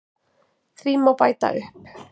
Því má bæta upp